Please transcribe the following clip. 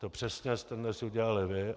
To přesně jste dnes udělali vy.